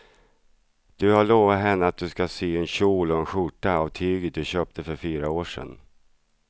Du har lovat henne att du ska sy en kjol och skjorta av tyget du köpte för fyra år sedan.